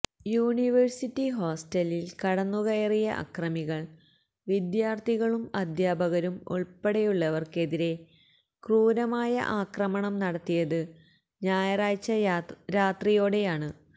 university ഹോസ്റ്റലിൽ കടന്നുകയറിയ അക്രമികൾ വിദ്യാർത്ഥികളും അദ്ധ്യാപകരും ഉൾപ്പെടെയുള്ളവർക്കെതിരെ ക്രൂരമായ ആക്രമണം നടത്തിയത് ഞായറാഴ്ച രാത്രിയോടെയാണ്